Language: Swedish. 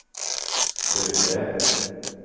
byggde